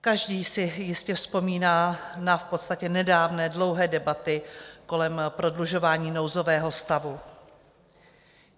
Každý si jistě vzpomíná na v podstatě nedávné dlouhé debaty kolem prodlužování nouzového stavu.